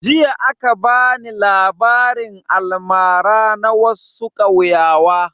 Jiya aka bani labarin almara na wassu kauyawa